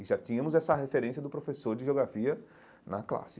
E já tínhamos essa referência do professor de Geografia na classe.